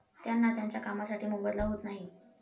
त्यांना त्यांच्या कामासाठी मोबदला होत नाही.